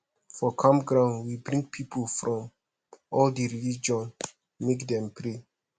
for camp ground we bring pipu from all di religion make dem pray